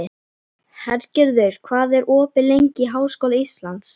Hergerður, hvað er opið lengi í Háskóla Íslands?